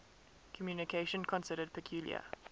communication considered peculiar